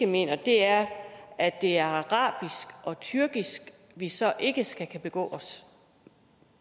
mener er at det er arabisk og tyrkisk vi så ikke skal kunne begå os